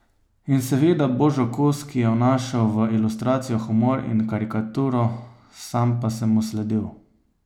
In seveda Božo Kos, ki je vnašal v ilustracijo humor in karikaturo, sam pa sem mu sledil.